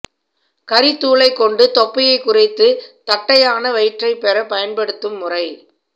கரித்தூளை கொண்டு தொப்பையை குறைத்து தட்டையான வயிற்றைப் பெற பயன்படுத்தும் முறை